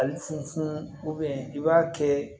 Ali funufunu i b'a kɛ